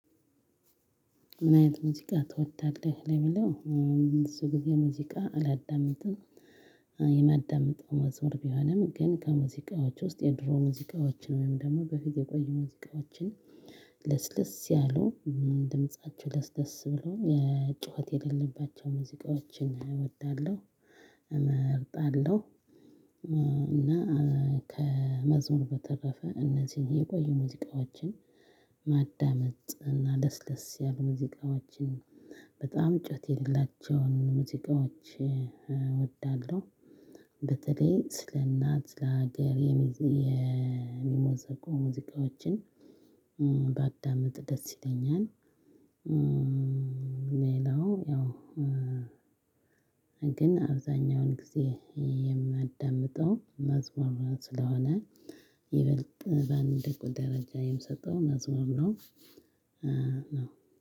ምን አይነት ሙዚቃ ትወዳለህ ለሚለው? ብዙ ጊዜ ሙዚቃ አላዳምጥም። የማዳምጠው መዝሙር ቢሆንም ግን ከሙዚቃዎች ውስጥ የድሮ ሙዚቃዎችን ወይም ደግሞ በፊት የቆዩ ሙዚቃዎችን ለስለስ ያሉ ድምፃቸው ለስለስ ብሎ የ ጩኸት የሌለባቸው ሙዚቃዎችን እወዳለሁ። እመርጣለሁ። እና ከመዝሙር በተረፈ እነዚህን የቆዩ ሙዚቃዎችን ማዳመጥ እና ለስለስ ያሉ ሙዚቃዎችን በጣም ጩኸት የሌላቸውን ሙዚቃዎች እወዳለሁ። በተለይ ስለ እናት ስለ ሀገር የሚሞዘቁ ሙዚቃዎችን ባዳምጥ ደስ ይለኛል። ሌላው ያው ግን አብዛኛውን ጊዜ የማዳምጠው መዝሙር ስለሆነ ይበልጥ በአንድ ቁጥር ደረጃ የምሰጠው መዝሙር ነው።